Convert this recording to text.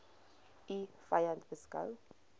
u vyand beskou